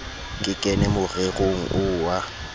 ke kene morerong oo wa